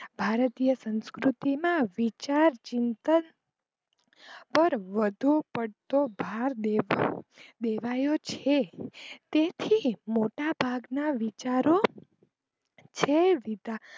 ભરતીય સંસ્કૃતિમાં વિચાર, ચિંતન પર વધુ પડતો ભાર દેવાયો છે તેથી મોટા ભાગ ના વિચારો છે.